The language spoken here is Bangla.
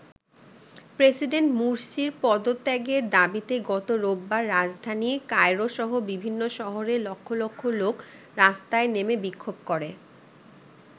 প্রেসিডেন্ট মুরসির পদত্যাগের দাবিতে গত রোববার রাজধানী কায়রোসহ বিভিন্ন শহরে লক্ষ লক্ষ লোক রাস্তায় নেমে বিক্ষোভ করে।